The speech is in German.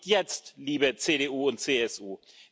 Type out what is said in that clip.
Warum nicht jetzt, liebe CDU und CSU?